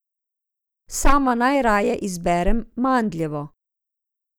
Sama najraje izberem mandljevo.